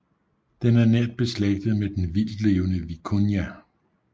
Den er nært beslægtet med den vildtlevende vikunja